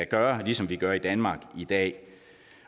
gøre ligesom vi gør i danmark i dag